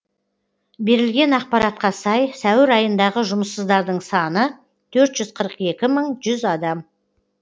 берілген ақпаратқа сай сәуір айындағы жұмыссыздардың саны төрт жүз қырық екі мың жүз адам